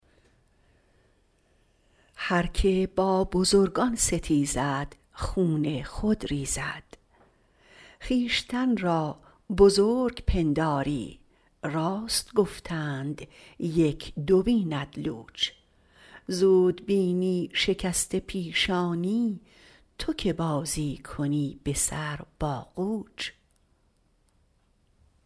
هرکه با بزرگان ستیزد خون خود ریزد خویشتن را بزرگ پنداری راست گفتند یک دو بیند لوچ زود بینی شکسته پیشانی تو که بازی کنی به سر با قوچ